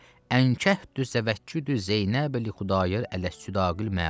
Ənkəhdü zəvəkküdü Zeynəb li Xudayar ələs sudaqil məlum.